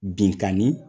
Binkanni